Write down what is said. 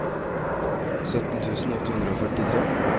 sytten tusen åtte hundre og førtitre